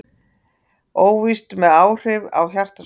Óvíst með áhrif á hjartasjúkdóma